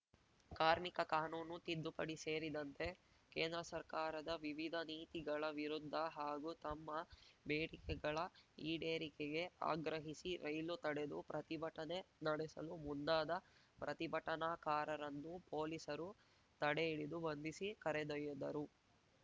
ಕಾರ್ಮಿಕ ಕಾನೂನು ತಿದ್ದುಪಡಿ ಸೇರಿದಂತೆ ಕೇಂದ್ರ ಸರ್ಕಾರದ ವಿವಿಧ ನೀತಿಗಳ ವಿರುದ್ಧ ಹಾಗೂ ತಮ್ಮ ಬೇಡಿಕೆಗಳ ಈಡೇರಿಕೆಗೆ ಆಗ್ರಹಿಸಿ ರೈಲು ತಡೆದು ಪ್ರತಿಭಟನೆ ನಡೆಸಲು ಮುಂದಾದ ಪ್ರತಿಭಟನಾಕಾರರನ್ನು ಪೊಲೀಸರು ತಡೆಹಿಡಿದು ಬಂಧಿಸಿ ಕರೆದೊಯ್ದರು